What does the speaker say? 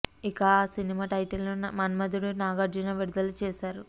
ఇక ఆ cinema title ని మన్మథుడు నాగార్జున విడుదల చేశారు